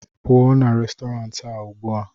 pụọ na Restọrantị a ugbu a!